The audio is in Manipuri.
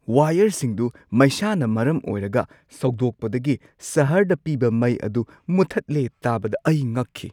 ꯋꯥꯌꯔꯁꯤꯡꯗꯨ ꯃꯩꯁꯥꯅ ꯃꯔꯝ ꯑꯣꯏꯔꯒ ꯁꯧꯗꯣꯛꯄꯗꯒꯤ ꯁꯍꯔꯗ ꯄꯤꯕ ꯃꯩ ꯑꯗꯨ ꯃꯨꯊꯠꯂꯦ ꯇꯥꯕꯗ ꯑꯩ ꯉꯛꯈꯤ ꯫